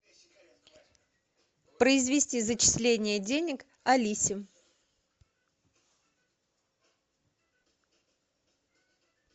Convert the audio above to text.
произвести зачисление денег алисе